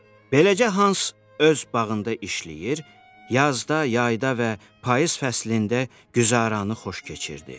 Beləcə hans öz bağında işləyir, yazda, yayda və payız fəslində güzaranı xoş keçirirdi.